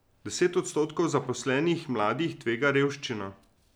Deset odstotkov zaposlenih mladih tvega revščino.